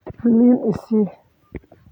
liin isii.